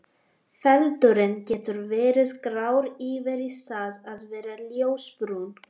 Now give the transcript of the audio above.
Feldurinn getur verið grár yfir í það að vera ljósbrúnn.